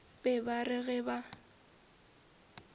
be ba re ge ba